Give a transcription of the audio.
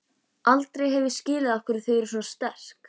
Aldrei hef ég skilið af hverju þau voru svona sterk.